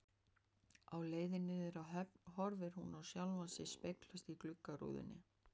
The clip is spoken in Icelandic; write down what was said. Á leiðinni niður að höfn horfir hún á sjálfa sig speglast í gluggarúðunum.